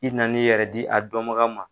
I na n'i yɛrɛ di a dɔnbaga ma.